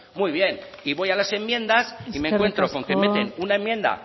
muy bien y voy a las enmiendas y me encuentro con que meten una enmienda